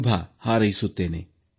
ಶುಭ ಹಾರೈಸುತ್ತೇನೆ